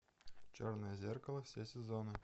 черное зеркало все сезоны